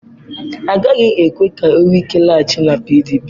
Agaghị ekwe ka Wike laghachi na PDP.